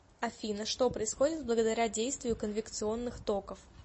афина что происходит благодаря действию конвекционных токов